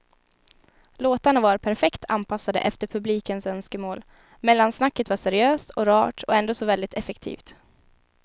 Låtarna var perfekt anpassade efter publikens önskemål, mellansnacket var seriöst och rart och ändå så väldigt effektivt.